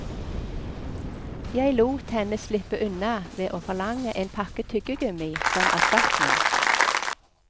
Jeg lot henne slippe unna ved å forlange en pakke tyggegummi som erstatning.